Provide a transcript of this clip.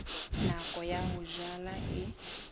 nako ya ho jala e